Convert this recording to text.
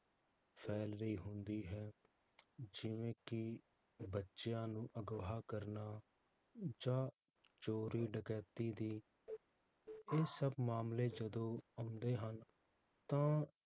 ਫੈਲ ਰਹੀ ਹੁੰਦੀ ਹੈ ਜਿਵੇ ਕਿ, ਬੱਚਿਆਂ ਨੂੰ ਅਘਵਾਹ ਕਰਨਾ, ਜਾ ਚੋਰੀ ਡਕੈਤੀ ਦੀ ਇਹ ਸਬ ਮਾਮਲੇ ਜਦੋ ਆਉਂਦੇ ਹਨ, ਤਾਂ